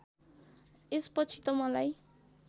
यसपछि त मलाई